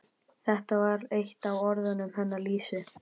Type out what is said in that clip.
Þetta var eitt af orðunum hennar Lísu.